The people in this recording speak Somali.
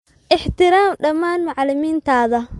Ixtiraam dhammaan macalimiintaada